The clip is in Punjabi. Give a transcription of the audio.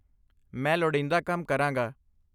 ਮੈਂ ਲੋੜੀਂਦਾ ਕੰਮ ਕਰਾਂਗਾ।